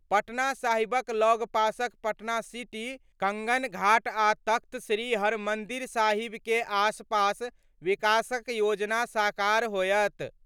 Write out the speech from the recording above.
पटना साहिबक लगपासक पटना सिटी कंगन घाट आ तख्त श्री हरमन्दिर साहिबके आसपास विकासक योजना साकार होयत।